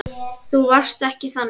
Þú varst ekki þannig.